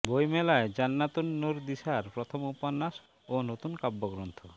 বইমেলায় জান্নাতুন নুর দিশার প্রথম উপন্যাস ও নতুন কাব্যগ্রন্থ